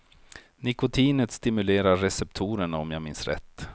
Nikotinet stimulerar receptorerna om jag minns rätt.